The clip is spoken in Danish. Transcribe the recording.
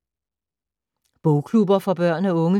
Bogklubber for børn og unge